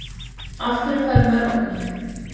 af hverju fær maður ofnæmi